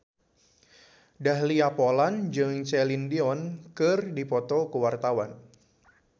Dahlia Poland jeung Celine Dion keur dipoto ku wartawan